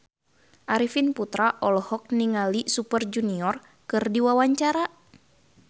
Arifin Putra olohok ningali Super Junior keur diwawancara